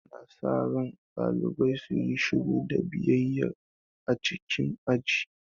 Ana sa ran ɗalibai su yi shiru da biyayya a cikin aji.